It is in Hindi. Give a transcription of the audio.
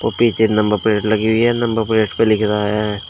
पीछे नंबर प्लेट लगी हुई है नंबर प्लेट पे लिख रहा है।